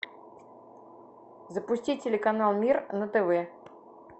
запусти телеканал мир на тв